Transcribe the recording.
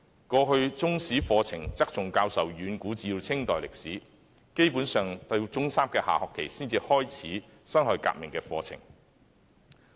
過去，中史課程側重教授遠古至清代歷史，基本上由中三下學期才開始教辛亥革命的課程。